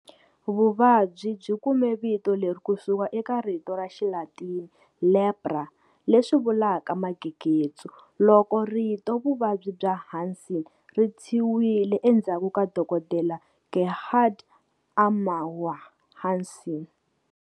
Vuvabyi byi kume vito leri kusuka eka rito ra Xilatini" Lepra", leswi vulaka"magegetsu", loko rito" Vuvabyi bya Hansen" ri tshyiwile endzhaku ka Dokodela Gerhard Armauer Hansen.